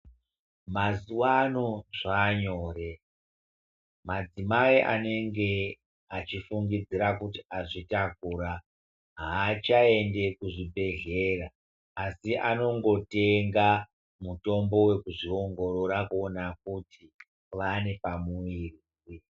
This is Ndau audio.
Mazuva ano zvanyore madzimai anenge achifungidzira kuti azvitakura hachaendi kuzvibhedhlera asi anongotenga mutombo wekuzviongorora kuona kuti ane pamuviri.